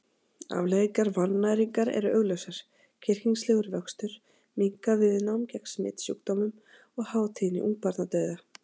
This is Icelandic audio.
Afleiðingar vannæringar eru augljósar: kyrkingslegur vöxtur, minnkað viðnám gegn smitsjúkdómum og há tíðni ungbarnadauða.